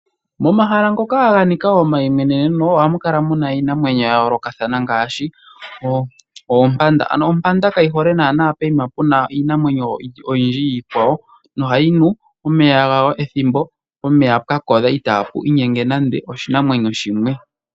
Momahala ngoka ganika omayimweneneno ohamu kala muna iinamwenyo ya yoolokathana ngaashi oompanda. Ano ompanda kayi hole nana poyima puna iinamwenyo oyindji iikwawo, nohayi nu omeya gayo pethimbo pomeya pwakodha itapu inyenge nande oshinamwenyo shimwe.